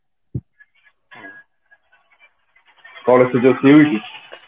ଘରେ ସବୁ ଠିକ ଅଛି